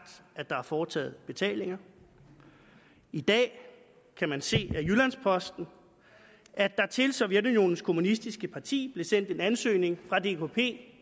at der har været foretaget betalinger i dag kan man se af jyllands posten at der til sovjetunionens kommunistiske parti i blev sendt en ansøgning fra dkp